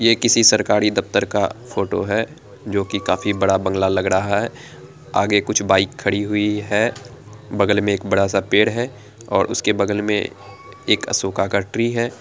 ये किसी सरकारी दफ़तर का फोटो है जो की काफी बड़ा बंगला लग रहा है आगे कुछ बाइक खड़ी हुई है बगल में एक बड़ा सा पेड़ है और उसके बगल में एक अशोका का ट्री है।